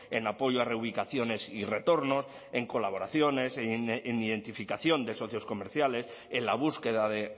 en apoyo a reubicaciones y retornos en colaboraciones en identificación de socios comerciales en la búsqueda de